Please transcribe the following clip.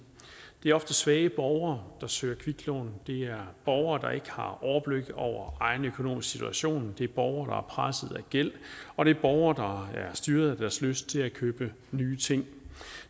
det er ofte svage borgere der søger kviklån det er borgere der ikke har overblik over egen økonomisk situation det er borgere presset af gæld og det er borgere der er styret af deres lyst til at købe nye ting